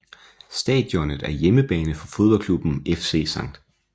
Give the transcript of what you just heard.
Stadionet er hjemmebane for fodboldklubben FC St